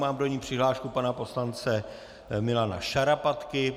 Mám do ní přihlášku pana poslance Milana Šarapatky.